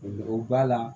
O b'a la